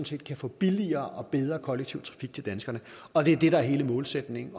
set få billigere og bedre kollektiv trafik til danskerne og det er det der er hele målsætningen